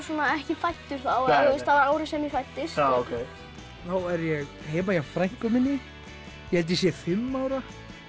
ekki fæddu þá það var árið sem ég fæddist þá er ég heima hjá frænku minni ég held ég sé fimm ára